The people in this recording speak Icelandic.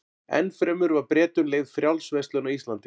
Enn fremur var Bretum leyfð frjáls verslun á Íslandi.